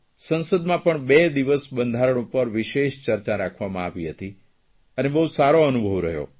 સંસદમાં પણ બે દિવસ બંધારણ પર વિશેષ ચર્ચા રાખવામાં આવી હતી અને બહુ સારો અનુભવ રહ્યો